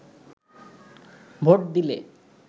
vote দিলে